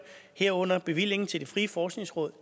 herunder bevillingen til det frie forskningsråd